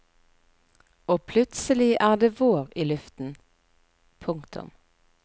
Og plutselig er det vår i luften. punktum